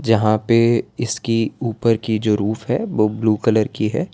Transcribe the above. जहां पे इसकी ऊपर की जो रूफ है वो ब्लू कलर की है।